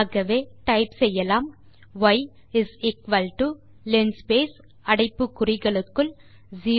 ஆகவே டைப் செய்யலாம் y is equal to linspace அடைப்பு குறிகளுக்குள் 050500